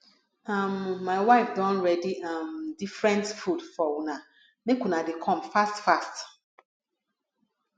um my wife don ready um different food for una make una dey come fast fast